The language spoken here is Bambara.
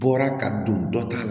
Bɔra ka don dɔ ta la